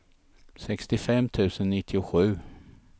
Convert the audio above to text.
sextiofem tusen nittiosju